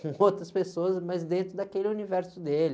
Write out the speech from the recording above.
com outras pessoas, mas dentro daquele universo dele.